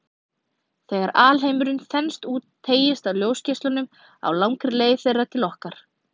Þegar alheimurinn þenst út, teygist á ljósgeislunum á langri leið þeirra til okkar.